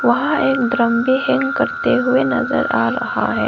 वहां एक ड्रम भी हैंग करते हुए नजर आ रहा है।